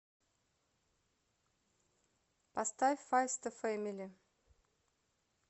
поставь файвста фэмили